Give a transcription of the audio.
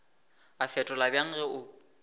a fetola bjang ge o